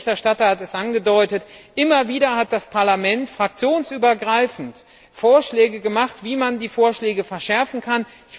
Der Berichterstatter hat es angedeutet Immer wieder hat das Parlament fraktionsübergreifend Vorschläge gemacht, wie man die Vorschläge verschärfen kann.